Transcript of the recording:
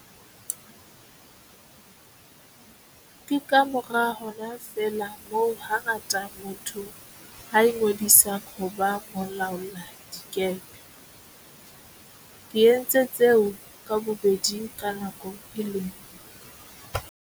Ke kamora hona feela moo hangata motho a ingodisang ho ba molaoladikepe. Ke entse tseo ka bobedi ka nako e le nngwe.